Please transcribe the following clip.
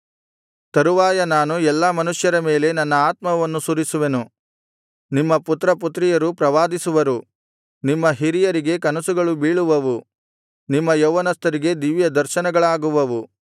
ತರುವಾಯ ನಾನು ಎಲ್ಲಾ ಮನುಷ್ಯರ ಮೇಲೆ ನನ್ನ ಆತ್ಮವನ್ನು ಸುರಿಸುವೆನು ನಿಮ್ಮ ಪುತ್ರಪುತ್ರಿಯರು ಪ್ರವಾದಿಸುವರು ನಿಮ್ಮ ಹಿರಿಯರಿಗೆ ಕನಸುಗಳು ಬೀಳುವವು ನಿಮ್ಮ ಯೌವನಸ್ಥರಿಗೆ ದಿವ್ಯದರ್ಶನಗಳಾಗುವವು